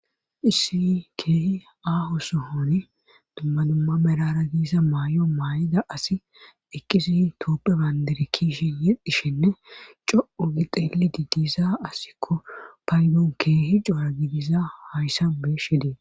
issi keehi aaho sohoni dumma dumma merara giisa may7o maay7ida asi ekkisi tooppe bayndere kiishi yeddhishenne co7o gixeeli diidiza asikko paydoon keehi coara gidiza hayssan beshidee